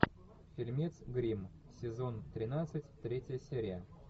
фильмец гримм сезон тринадцать третья серия